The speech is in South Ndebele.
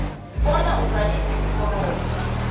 bona uzalise iforomu